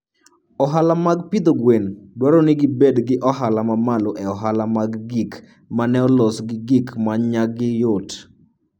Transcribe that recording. Ohala mag pidho gwen dwaro ni gibed gi ohala mamalo e ohala mag gik ma ne olos gi gik ma nyagi yot.